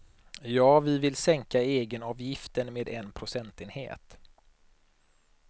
Ja, vi vill sänka egenavgiften med en procentenhet.